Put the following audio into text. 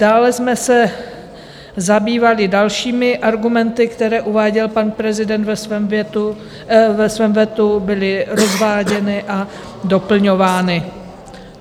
Dále jsme se zabývali dalšími argumenty, které uváděl pan prezident ve svém vetu, byly rozváděny a doplňovány.